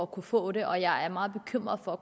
kunne få den og jeg er meget bekymret for